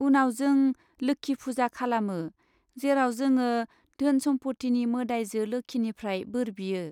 उनाव, जों 'लोक्षि फुजा' खालामो, जेराव जोङो धोन सम्फथिनि मोदाइजो लोक्षिनिफ्राय बोर बियो।